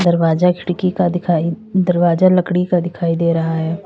दरवाजा खिड़की का दिखाई दरवाजा लकड़ी का दिखाई दे रहा है।